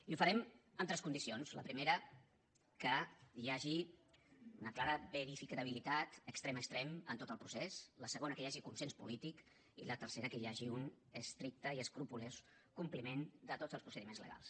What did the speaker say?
i ho farem amb tres condicions la primera que hi hagi una clara verificabilitat extrem a extrem en tot el procés la segona que hi hagi consens polític i la tercera que hi hagi un estricte i escrupolós compliment de tots els procediments legals